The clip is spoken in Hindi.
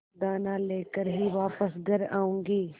दाना लेकर ही वापस घर आऊँगी